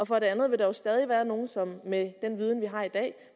for det andet vil der jo stadig være nogle som vi med den viden vi har i dag